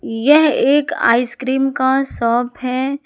यह एक आइसक्रीम का साप है।